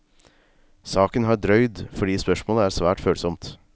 Saken har drøyd fordi spørsmålet er svært følsomt.